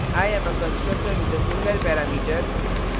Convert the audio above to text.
i am a constructor with a single parameter